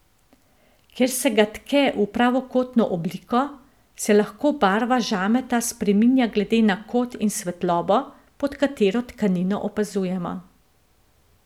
Ker se ga tke v pravokotno obliko, se lahko barva žameta spreminja glede na kot in svetlobo, pod katero tkanino opazujemo.